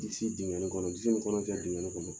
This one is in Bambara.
Disi dingɛn ne kɔnɔ, disi min kɔnɔ fɛn dingɛ ne kɔnɔ